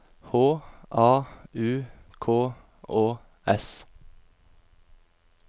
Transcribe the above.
H A U K Å S